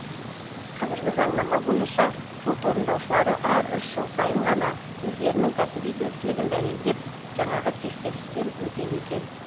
қазіргі заңнама бойынша сот орындаушылары әр үш жыл сайын ғана өздерінің кәсіби біліктілігін дәлелдеп жаңағы тексерістен өтеді екен